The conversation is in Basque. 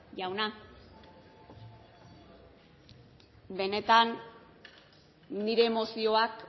jauna benetan nire emozioak